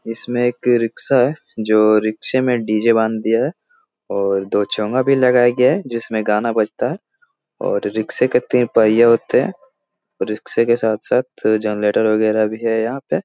इसमें एक रिक्शा है जो रिक्शे में डी.जे. बाँध दिया है और दो चोंगा भी लगाया गया है जिसमें गाना बजता है। और रिक्शे के तीन पहिये होते हैं। रिक्शे के साथ-साथ फिर जनरेटर वगेरा भी है यहां पे |